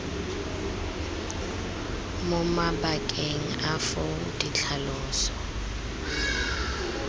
mo mabakeng a foo ditlhaloso